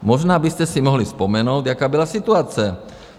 Možná byste si mohli vzpomenout, jaká byla situace?